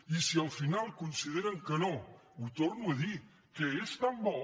i si al final consideren que no ho torno a dir que és tan bo